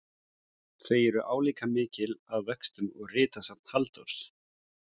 Þau eru álíka mikil að vöxtum og ritsafn Halldórs